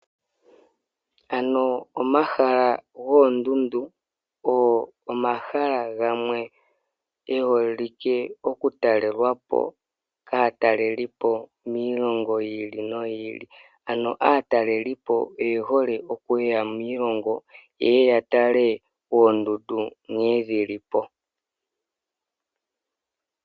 Ano omahala goondundu ogo omahala gamwe geholike okutalelwapo kaatalelipo miilongo yi ili noyi ili ano aatalelipo oyehole okuya miilongo yeye yatale oondundu nkene dhilipo.